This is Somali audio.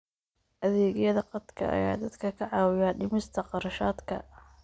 Adeegyada khadka ayaa dadka ka caawiya dhimista kharashaadka.